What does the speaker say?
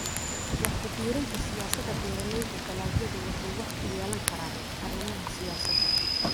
Wax ku biirinta Siyaasada Beeralayda dalagyadu waxay wax ku yeelan karaan arrimaha siyaasadda.